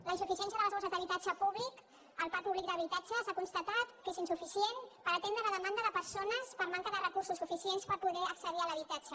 la insuficiència de les borses d’habitatge públic el parc públic d’habitatge s’ha constatat que és insuficient per atendre la demanda de persones per manca de recursos suficients per poder accedir a l’habitatge